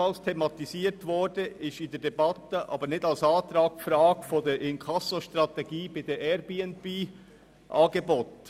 Ebenfalls thematisiert, aber nicht als Antrag behandelt, wurde in der Debatte die Frage der Inkassostrategie bei den Airbnb-Angeboten.